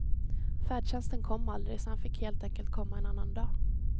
Färdtjänsten kom aldrig, så han fick helt enkelt komma en annan dag.